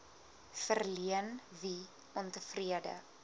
verleen wie ontevrede